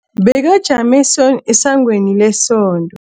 Bekajame esangweni lesonto.